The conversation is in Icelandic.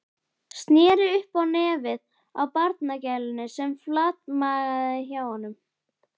Sneri upp á nefið á barnagælunni sem flatmagaði hjá honum.